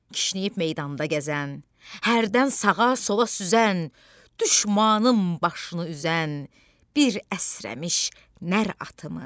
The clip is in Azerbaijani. Kişnəyib meydanda gəzən, hərdən sağa-sola süzən, düşmanın başını üzən bir əsrəmiş nər atımı.